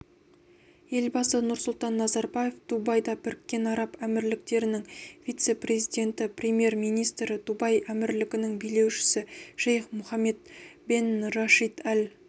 елбасы нұрсұлтан назарбаев дубайда біріккен араб әмірліктерінің вице-президенті премьер-министрі дубай әмірлігінің билеушісі шейх мұхаммед бен рашид әл